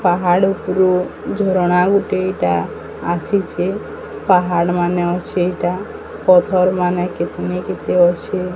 ପାହାଡ଼ ଉପୁରୁ ଝରଣା ଗୋଟେ ଏଟା ଆସିଚେ। ପାହାଡ଼ ମାନେ ଅଛେ ଏଟା। ପଥରମାନେ କେତେନି କେତେ ଅଛେ।